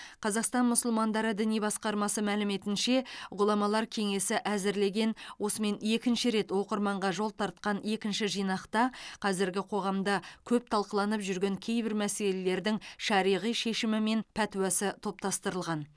қазақстан мұсылмандары діни басқармасы мәліметінше ғұламалар кеңесі әзірлеген осымен екінші рет оқырманға жол тартқан екінші жинақта қазіргі қоғамда көп талқыланып жүрген кейбір мәселелердің шариғи шешімі мен пәтуасы топтастырылған